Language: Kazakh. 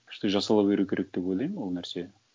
ішті жасала беру керек деп ойлаймын ол нәрсе